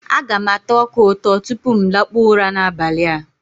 Aga m ata ọka ụtọ tupu m lakpụọ ụra n'abali a.